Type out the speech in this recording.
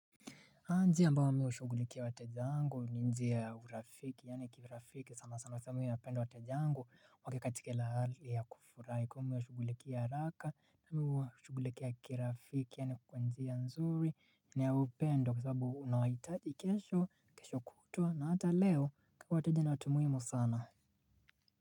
Aa njia ambayo mi hushughulikia wateja wangu ni njia ya urafiki yaani kirafiki sana sana sababu mimi napenda wateja wangu wakiwa katika hali ya kufurahi kwani mi huwashughulikia haraka na mimi huwashughulikia kirafiki yaani kwa njia nzuri ni ya upendo kwa sababu nawahitaji kesho kesho kutuwa na hata leo kwani wateja ni watu muhimu sana.